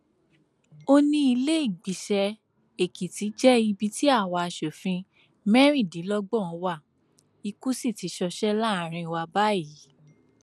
ó ní ìlèégbiṣẹ èkìtì jẹ ibi tí àwa asòfin mẹrìndínlọgbọn wa ikú sì ti ṣọṣẹ láàrin wa báyìí